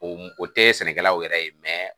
O o tɛ sɛnɛkɛlaw yɛrɛ ye